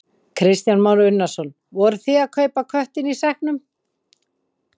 Kristján Már Unnarsson: Voru þið að kaupa köttinn í sekknum?